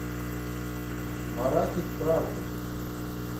маратик правдин